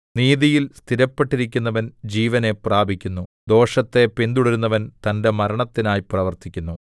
നീതിയിൽ സ്ഥിരപ്പെട്ടിരിക്കുന്നവൻ ജീവനെ പ്രാപിക്കുന്നു ദോഷത്തെ പിന്തുടരുന്നവൻ തന്റെ മരണത്തിനായി പ്രവർത്തിക്കുന്നു